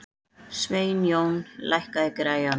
Sveinjón, lækkaðu í græjunum.